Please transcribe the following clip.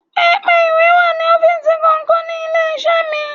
Pẹpẹ ìwé wà ní ọ́fíìsì kọ̀ọ̀kan ní ilé-iṣẹ́ mi.